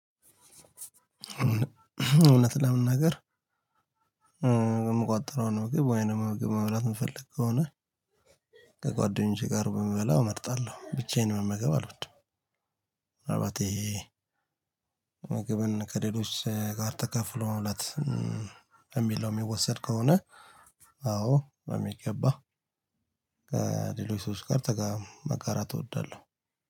እውነት ለመናገር። የምቆጥረው ነው ግብ ወይንም ግብ መብላት የምፈልገው ከሆነ። ከጓደኞቼ ጋር ብንበላ እመርጣለሁ ብቻዬን መመገብ አልወድም። አባቴ ምግብን ከሌሎች ጋር ተካፍሎ መብላት የሚል ነው የሚወሰድ ከሆነ። አዎ በሚገባ ከሌሎች ሰዎች ጋር መጋራት እወዳለሁ።